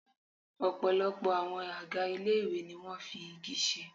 Ọ̀pọ̀lọpọ̀ àwọn àga ilé ìwé ni wọn fi igi ṣe.